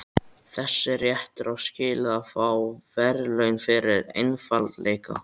Þessi réttur á skilið að fá verðlaun fyrir einfaldleika.